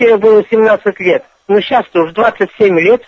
тебе было семнадцать лет но сейчас то уже двадцать семь лет